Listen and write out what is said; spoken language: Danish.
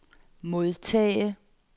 modtage